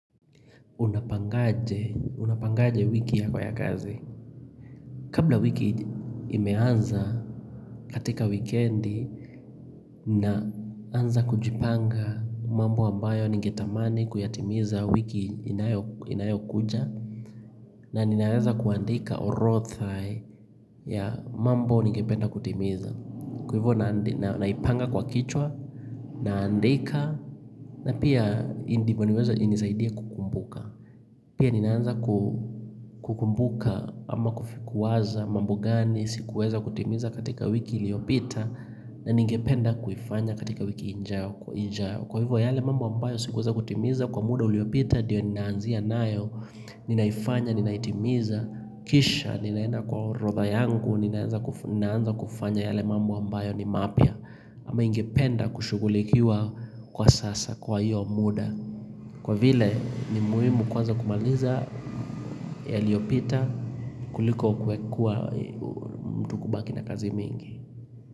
Unapangaje wiki yako ya kazi Kabla wiki imeanza katika wikendi Naanza kujipanga mambo ambayo ningetamani kuyatimiza wiki inayokuja na ninaanza kuandika orothai ya mambo ningependa kutimiza Kwa hivyo naipanga kwa kichwa naandika na pia indipo niweze inisaidie kukumbuka Ninaanza kukumbuka ama kufi kuwaza mambo gani sikuweza kutimiza katika wiki iliyopita na ningependa kuifanya katika wiki injao. Kwa hivyo yale mambo ambayo sikuweza kutimiza kwa muda uliyopita diyo ninaanzia nayo, ninaifanya, ninaitimiza, kisha, ninaenda kwa orodha yangu, ninaanza kufanya yale mambo ambayo ni mapya ama ingependa kushugulikiwa kwa sasa kwa hiyo muda. Kwa vile ni muhimu kwanza kumaliza yaliyopita kuliko kwe kua mtu kubaki na kazi mingi.